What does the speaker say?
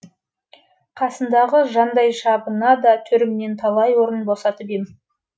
қасындағы жандайшабына да төрімнен талай орын босатып ем